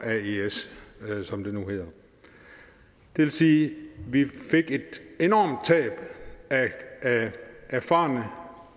aes som det nu hedder det vil sige at vi fik et enormt tab af erfarne